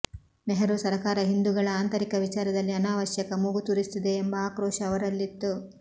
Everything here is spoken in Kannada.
ನೆಹರೂ ಸರಕಾರ ಹಿಂದೂಗಳ ಆಂತರಿಕ ವಿಚಾರದಲ್ಲಿ ಅನಾವಶ್ಯಕ ಮೂಗು ತೂರಿಸುತ್ತಿದೆ ಎಂಬ ಆಕ್ರೋಶ ಅವರಲ್ಲಿತ್ತು